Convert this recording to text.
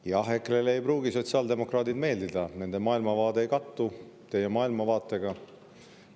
Jah, EKRE-le ei pruugi sotsiaaldemokraadid meeldida, nende maailmavaade ei kattu teie maailmavaatega.